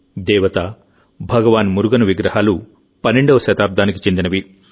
దేవత భగవాన్ మురుగన్ విగ్రహాలు 12వ శతాబ్దానికి చెందినవి